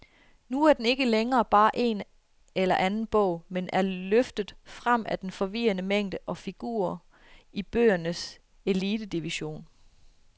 Nu er den ikke længere bare en eller anden bog, men er løftet frem af den forvirrende mængde og figurerer i bøgernes elitedivision.